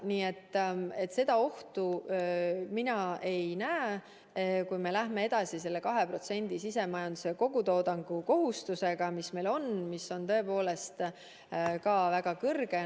Nii et ohtu mina ei näe, kui me jätkame selle 2% sisemajanduse kogutoodangu kohustusega, mis meil on ja mis on tõepoolest ka väga suur.